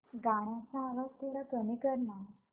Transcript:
गाण्याचा आवाज थोडा कमी कर ना